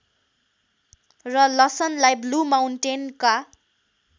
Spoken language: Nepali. र लसनलाई ब्लू माउन्टेनका